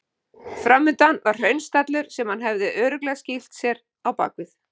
Framundan var hraunstallur sem hann hafði örugglega skýlt sér á bakvið.